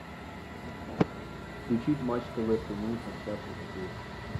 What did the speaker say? включить матч тв прямые трансляции хоккей